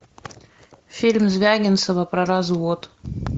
фильм звягинцева про развод